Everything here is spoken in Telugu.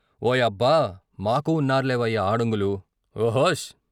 ఓ యబ్బ, మాకూ ఉన్నర్లేవయ్యా ఆడంగులు "" ఓ హోస్ "